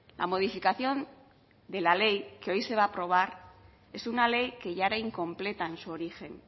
la modificación de la ley que hoy se va a aprobar es una ley que ya era incompleta en su origen